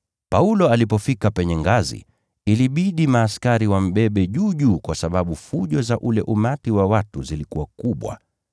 Paulo alipofika penye ngazi, ilibidi askari wambebe juu juu kwa sababu fujo za ule umati wa watu zilikuwa kubwa.